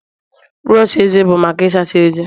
brọsh eze bụ maka Ị sacha ezé